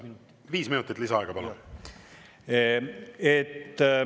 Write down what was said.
Viis minutit lisaaega, palun!